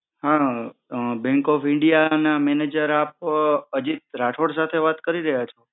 હા bank of india ના manager આપ અજિત રાઠોડ સાથે વાત કરી રહ્યા છો